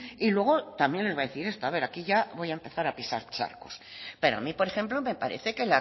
y luego también les voy a decir esto aquí ya voy a empezar a pisar charcos pero a mí por ejemplo me parece que